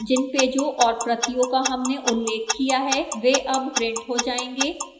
जिन पेजों और प्रतियों का हमने उल्लेख किया है वे अब printed हो जाएंगे